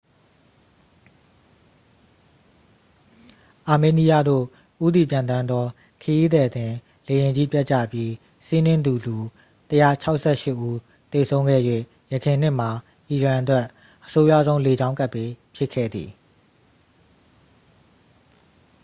အာမေးနီးယားသို့ ဦးတည်ပျံသန်းသော ခရီးသည်တင်လေယာဉ်ကြီး ပျက်ကြပြီး စီးနင်းသူ လူ 168 ဦး သေဆုံးခဲ့၍ ယခင်နှစ်မှာ အီရန်အတွက် အဆိုးရွားဆုံး လေကြောင်းကပ်ဘေး ဖြစ်ခဲ့သည်